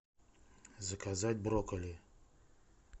заказать брокколи